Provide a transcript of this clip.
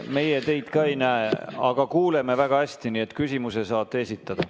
Meie teid ka ei näe, aga kuuleme väga hästi, nii et küsimuse saate esitada.